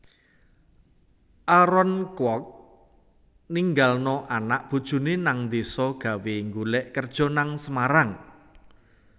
Aaron Kwok ninggalno anak bojone nang deso gawe nggolek kerjo nang Semarang